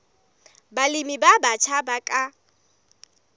balemi ba batjha ba ka